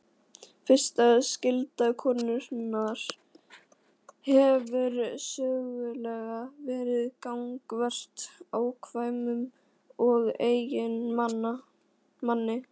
Fyrsta skylda konunnar hefur sögulega verið gagnvart afkvæmum og eiginmanni.